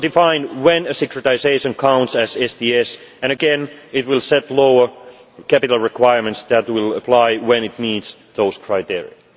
will define when a securitisation counts as STS, and again it will set lower capital requirements that will apply when it meets those criteria.